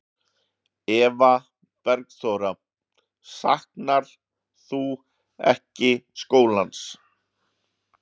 Eva Bergþóra: Saknarðu ekkert skólans?